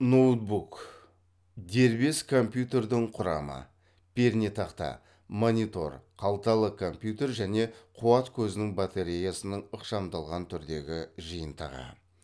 ноутбук дербес компьютердің құрамы пернетақта монитор қалталы компьютер және қуат көзінің батареясының ықшамдалған түрдегі жиынтығы